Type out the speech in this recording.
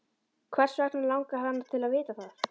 Hvers vegna langar hana til að vita það?